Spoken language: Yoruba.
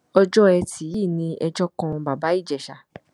ọjọ etí yìí ni ẹjọ kan bàbá ìjèṣà